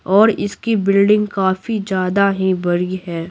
और इसकी बिल्डिंग काफी ज्यादा ही बड़ी है।